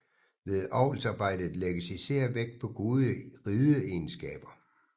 Ved avlsarbejdet lægges især vægt på gode rideegenskaber